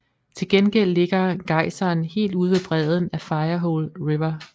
Til gengæld ligger gejseren helt ude ved bredden af Firehole River